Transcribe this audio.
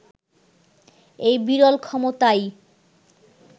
এই বিরল ক্ষমতাই